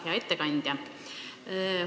Hea ettekandja!